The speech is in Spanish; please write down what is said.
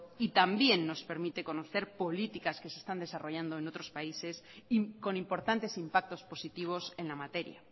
y también nos permite conocer políticas que se están desarrollando en otros países con importantes impactos positivos en la materia